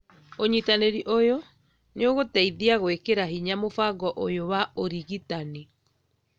ũnyitanĩri ũyũ nĩ ũgũteithia gũĩkĩra hinya mũbango ũyũ wa ũrigitani.